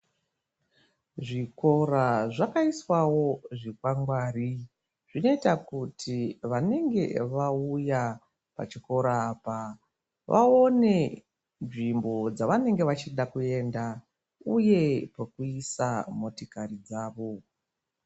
Zvikora zvakaiswawo zvikwangwari zvinoita kuti vanenge vauya pachikora apa vaone nzvimbo dzavanenge vachida kuenda uye pekuisa motokari dzavo.